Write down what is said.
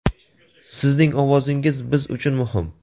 Sizning ovozingiz biz uchun muhim!.